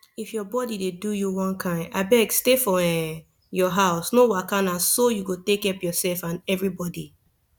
if your body dey do you one kind abeg stay for um your house no waka na so you go take help yourself and everybody